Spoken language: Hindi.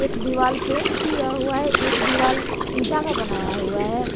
दिवाल पेंट किया हुआ है एक दीवार इंटा का बनाया हुआ है।